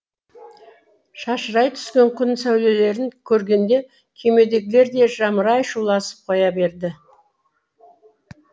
шашырай түскен күн сәулелерін көргенде кемедегілер де жамырай шуласып қоя береді